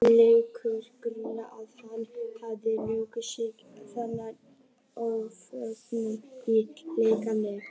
Leikur grunur á að hersveitir hafi losað sig við þennan ófögnuð í leyfisleysi.